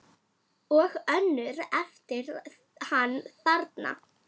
Og önnur eftir hann þarna